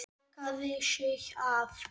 Lokaði sig af.